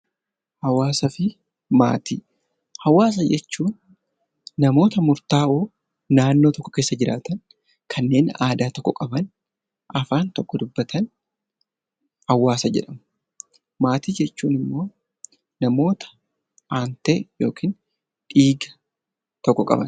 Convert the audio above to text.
Hawwaasaa fi Maatii: Hawwaasa jechuun namoota murtaa'oo naannoo tokko keessa jiraatan, kanneen aadaa tokko qaban, afaan tokko dubbatan hawwaasa jedhamu. Maatii jechuun immoo namoota aantee yookaan dhiiga tokko qabani.